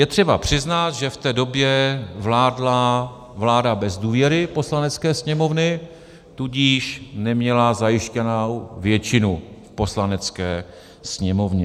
Je třeba přiznat, že v té době vládla vláda bez důvěry Poslanecké sněmovny, tudíž neměla zajištěnou většinu v Poslanecké sněmovně.